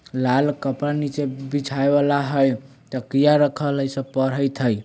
लाल कपड़ा नीचे बिछाए वाला हय तकिया रखल हय इ सब पड़ैत हय।